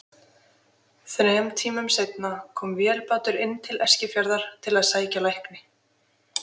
Þrem tímum seinna kom vélbátur inn til Eskifjarðar til að sækja lækni.